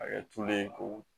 A kɛ tulu ye ko